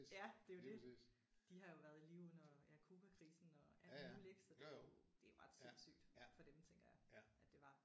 Ja det er jo det. De har jo været i live under ja Cubakrisen og alt muligt ik så det er jo det er jo ret sindsygt for dem tænker jeg at det var